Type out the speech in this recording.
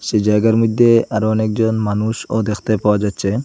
এই জায়গার মইধ্যে আরও অনেকজন মানুষও দেখতে পাওয়া যাচ্চে ।